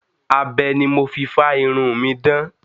Abẹ ni mo fi fá irun mi dán.